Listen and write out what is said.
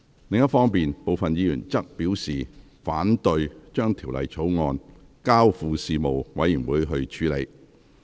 另一方面，部分議員則表示，反對將《條例草案》交付事務委員會處理。